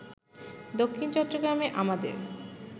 দক্ষিণ চট্টগ্রামে আমাদের